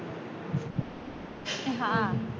હા